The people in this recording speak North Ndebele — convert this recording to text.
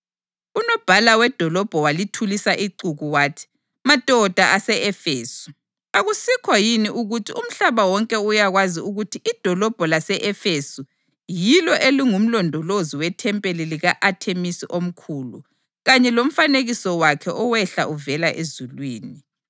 Unobhala wedolobho walithulisa ixuku wathi, “Madoda ase-Efesu, akusikho yini ukuthi umhlaba wonke uyakwazi ukuthi idolobho lase-Efesu yilo elingumlondolozi wethempeli lika-Athemisi omkhulu, kanye lomfanekiso wakhe owehla uvela ezulwini?